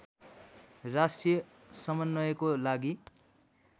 राष्ट्रिय समन्वयको लागि